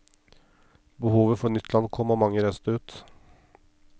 Behovet for nytt land kom, og mange reiste ut.